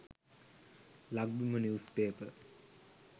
lakbima news paper